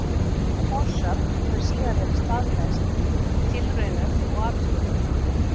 Sú forsögn hefur síðan verið staðfest í tilraunum og athugunum.